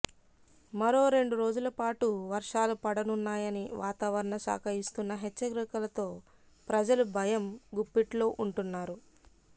మరో రెండు రోజులపాటు వర్షాలు పడనున్నాయని వాతావరణ శాఖ ఇస్తున్న హెచ్చరికలతో ప్రజలు భయం గుప్పిట్లో ఉంటున్నారు